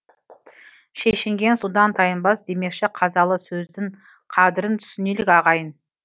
шешінген судан тайынбас демекші қазалы сөздін қадірін түсінелік ағайын